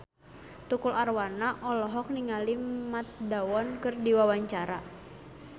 Tukul Arwana olohok ningali Matt Damon keur diwawancara